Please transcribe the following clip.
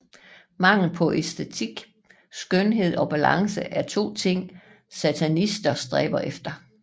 Mangel på æstetik Skønhed og balance er to ting satanister stræber efter